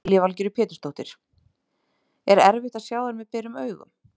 Lillý Valgerður Pétursdóttir: Er erfitt að sjá þær með berum augum?